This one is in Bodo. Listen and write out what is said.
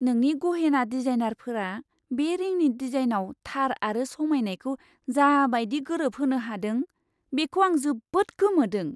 नोंनि गहेना डिजाइनारफोरा बे रिंनि डिजाइनआव थार आरो समायनायखौ जा बायदि गोरोबहोनो हादों बेखौ आं जोबोद गोमोदों।